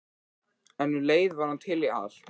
En um leið var hann til í allt.